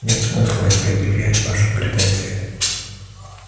нет смысла и предъявлять ваши претензии